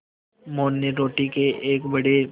मोहन ने रोटी के एक बड़े